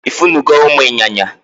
Ifun go umu inyanya?